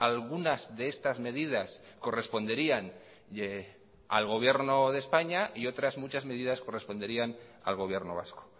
algunas de estas medidas corresponderían al gobierno de españa y otras muchas medidas corresponderían al gobierno vasco